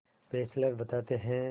Fessler बताते हैं